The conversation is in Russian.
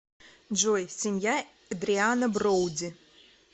джой семья эдриана броуди